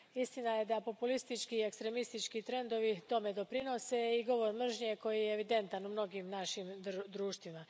Istina je da populistički i ekstremistički trendovi tome doprinose, kao i govor mržnje koji je evidentan u mnogim našim društvima.